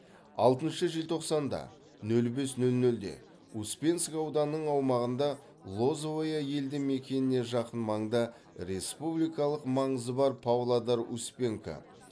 алтыншы желтоқсанда нөл бес нөл нөлде успенск ауданының аумағында лозовое елді мекеніне жақын маңда республикалық маңызы бар павлодар успенка